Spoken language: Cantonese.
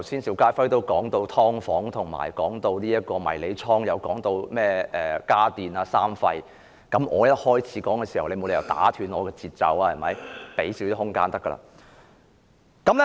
邵家輝議員剛才提到"劏房"、迷你倉，他更提到"家電三廢"等，而我只是剛開始發言，你沒理由打斷我的節奏吧？